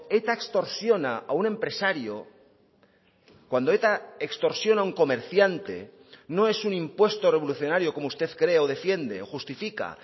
eta extorsiona a un empresario cuando eta extorsiona a un comerciante no es un impuesto revolucionario como usted cree o defiende o justifica